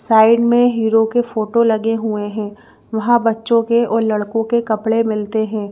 Side में hero के photo लगे हुए हैं वहां बच्चों के और लड़कों के कपड़े मिलते हैं।